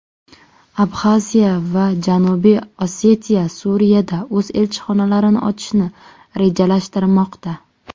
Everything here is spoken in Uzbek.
Abxaziya va Janubiy Osetiya Suriyada o‘z elchixonalarini ochishni rejalashtirmoqda.